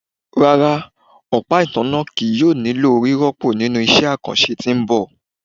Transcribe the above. Rara, ọpa itanna kii yoo nilo rirọpo ninu iṣẹ akanṣe ti n bọ